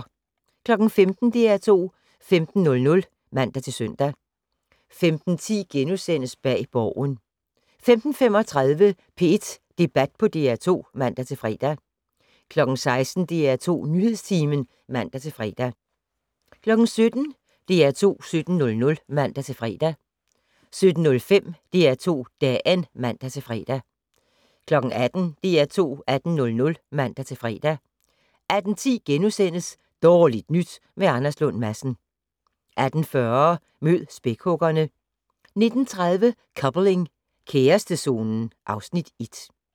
15:00: DR2 15:00 (man-søn) 15:10: Bag Borgen * 15:35: P1 Debat på DR2 (man-fre) 16:00: DR2 Nyhedstimen (man-fre) 17:00: DR2 17:00 (man-fre) 17:05: DR2 Dagen (man-fre) 18:00: DR2 18:00 (man-fre) 18:10: Dårligt nyt med Anders Lund Madsen * 18:40: Mød spækhuggerne 19:30: Coupling - kærestezonen (Afs. 1)